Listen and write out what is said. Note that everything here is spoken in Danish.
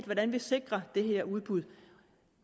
hvordan vi sikrer det udbud